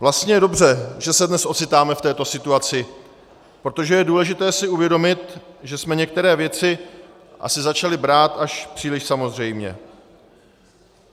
Vlastně je dobře, že se dnes ocitáme v této situaci, protože je důležité si uvědomit, že jsme některé věci asi začali brát až příliš samozřejmě.